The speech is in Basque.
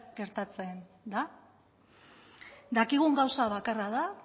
gertatzen da dakigun gauza bakarra da